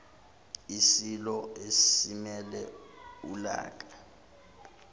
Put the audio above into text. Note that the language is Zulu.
isilo simele ulaka